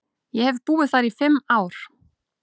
Ég hef búið þar í fimm ár.